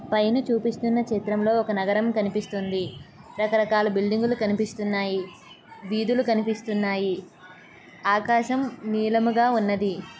పైన చూపిస్తున్న చిత్రంలో ఒక నగరం కనిపిస్తుంది. రకరకాల బిల్డింగ్ లు కనిపిస్తున్నాయి. వీధులు కనిపిస్తున్నాయి. ఆకాశం నీలముగా ఉన్నది.